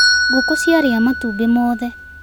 Ngũkũ ciaria matumbĩ mothe.